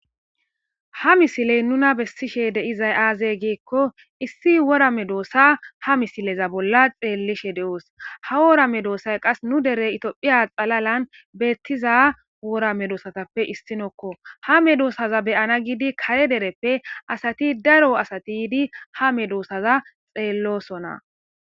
Ha misiley nuna bessishe de7izay aazey geekko issi wora medoossa ha misileza bolla xeellishe de7oos ha wora me doossay qas nu dere itoophiya xalalan beettiza wora medoosatappe issinokko ha medoosaza beyana gidi kare dereppe asati daro asati ydi ha medoossaza xeellosona